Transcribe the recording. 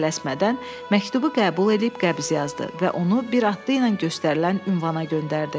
Tələsmədən məktubu qəbul edib qəbz yazdı və onu bir atlı ilə göstərilən ünvana göndərdi.